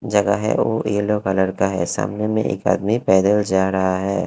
लगा है वो यलो कलर का है सामने में एक आदमी पैदल जा रहा है।